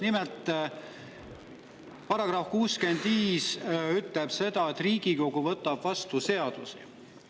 Nimelt, § 65 ütleb seda, et Riigikogu võtab vastu seadusi.